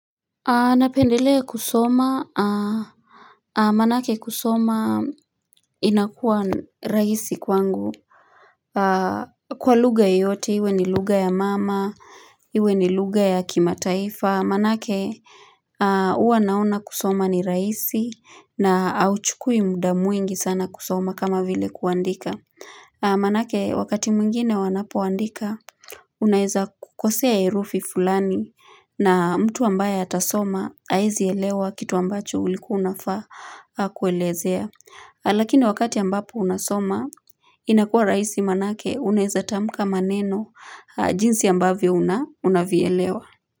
Napendelea kusoma Manake kusoma inakuwa raisi kwangu Kwa lugha yoyote iwe ni lugha ya mama Iwe ni lugha ya kimataifa manake huwa naona kusoma ni raisi na auchukui muda mwingi sana kusoma kama vile kuandika Manake wakati mwengine wanapoandika Unaeza kukosea herufi fulani na mtu ambaye atasoma haezi elewa kitu ambacho ulikuwa unafaa kuelezea. Lakini wakati ambapo unasoma inakua raisi manake unaeza tamka maneno jinsi ambavyo unavyoelewa.